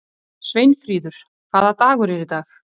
Sveinfríður, hvaða dagur er í dag?